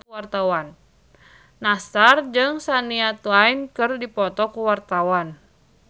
Nassar jeung Shania Twain keur dipoto ku wartawan